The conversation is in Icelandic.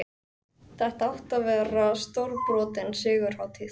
Þetta átti að verða stórbrotin sigurhátíð!